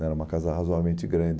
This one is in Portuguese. Era uma casa razoavelmente grande.